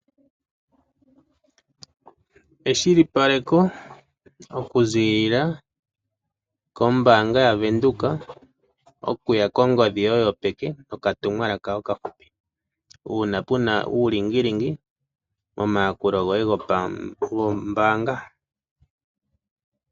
Eshilipaleko oku zilila kombaanga yaVenduka okuya kongodhi yoye yopeke okatumwalaka okafupi, uuna pena uulingilingi omayakulo goye gombaanga.